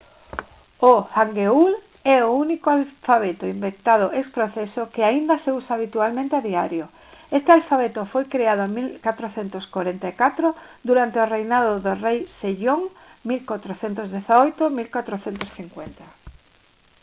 o hangeul é o único alfabeto inventado ex profeso que aínda se usa habitualmente a diario. este alfabeto foi creado en 1444 durante o reinado do rei sejong 1418 – 1450